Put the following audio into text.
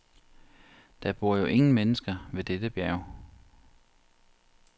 Der bor jo ingen mennesker ved dette bjerg.